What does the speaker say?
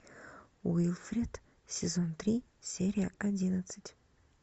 уилфред сезон три серия одиннадцать